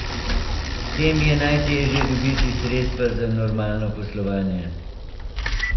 Tem je najteže dobiti sredstva za normalno poslovanje.